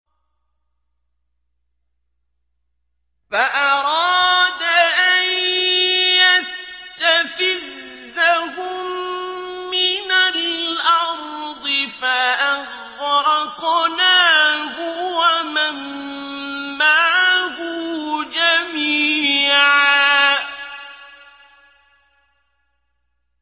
فَأَرَادَ أَن يَسْتَفِزَّهُم مِّنَ الْأَرْضِ فَأَغْرَقْنَاهُ وَمَن مَّعَهُ جَمِيعًا